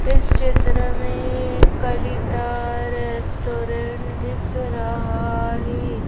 इस क्षेत्र में कलीता रेस्टोरेंट दिख रहा है--